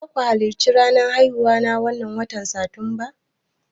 Zaku halarci ranar haihuwa ta wannan watan satumba?